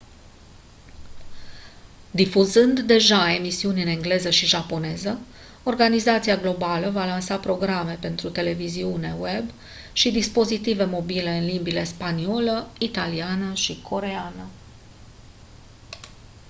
difuzând deja emisiuni în engleză și japoneză organizația globală va lansa programe pentru televiziune web și dispozitive mobile în limbile spaniolă italiană și coreeană